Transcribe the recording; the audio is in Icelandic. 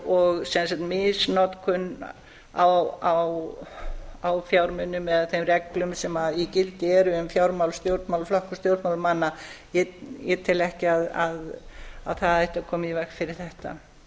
og sem sagt misnotkun á fjármunum eða þeim reglum sem í gildi eru um fjármál stjórnmálaflokka og stjórnmálamanna ég tel ekki að það ætti að koma í veg fyrir þetta